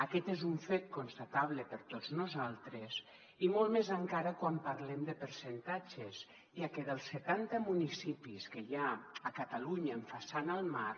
aquest és un fet constatable per tots nosaltres i molt més encara quan parlem de percentatges ja que dels setanta municipis que hi ha a catalunya amb façana al mar